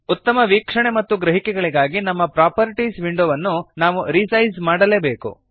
ಉತ್ತಮ ವೀಕ್ಷಣೆ ಮತ್ತು ಗ್ರಹಿಕೆಗಳಿಗಾಗಿ ನಮ್ಮ ಪ್ರಾಪರ್ಟೀಸ್ ವಿಂಡೋವನ್ನು ನಾವು ರಿಸೈಜ್ ಮಾಡಲೇಬೇಕು